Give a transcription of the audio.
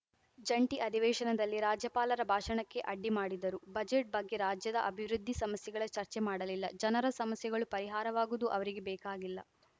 ಜಂಟಿ ಅಧಿವೇಶನದಲ್ಲಿ ರಾಜ್ಯಪಾಲರ ಭಾಷಣಕ್ಕೆ ಅಡ್ಡಿಮಾಡಿದರು ಬಜೆಟ್‌ ಬಗ್ಗೆ ರಾಜ್ಯದ ಅಭಿವೃದ್ಧಿ ಸಮಸ್ಯೆಗಳ ಚರ್ಚೆ ಮಾಡಲಿಲ್ಲ ಜನರ ಸಮಸ್ಯೆಗಳು ಪರಿಹಾರವಾಗುವುದು ಅವರಿಗೆ ಬೇಕಾಗಿಲ್ಲ